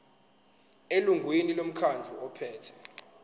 elungwini lomkhandlu ophethe